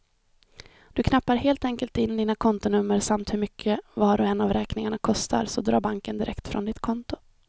Du knappar helt enkelt in dina kontonummer samt hur mycket var och en av räkningarna kostar, så drar banken direkt från ditt konto.